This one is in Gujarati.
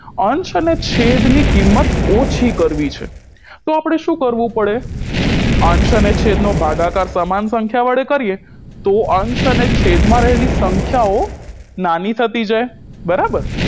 અંશ અને છેદની કિંમત ઓછી કરવી છે તો આપણે શું કરવું પડે અંશ અને છેદ નો ભાગાકાર સમાન સંખ્યા વડે કરીએ તો અંશ અને છેદમાં રહેલી સંખ્યાઓ નાની થતી જાય બરાબર